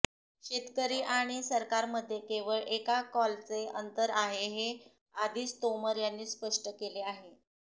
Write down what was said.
शेतकरी आणि सरकारमध्ये केवळ एका कॉलचे अंतर आहे हे आधीच तोमर यांनी स्पष्ट केले आहे